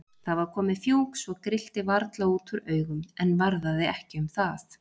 Það var komið fjúk svo grillti varla út úr augum, en varðaði ekki um það.